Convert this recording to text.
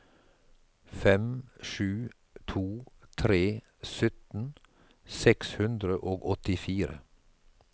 fem sju to tre sytten seks hundre og åttifire